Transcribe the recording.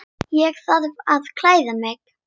Ég þarf að klæða mig.